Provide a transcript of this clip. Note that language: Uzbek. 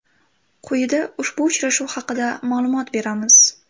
Quyida ushbu uchrashuv haqida ma’lumot berib o‘tamiz.